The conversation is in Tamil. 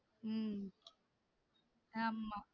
உம் அமா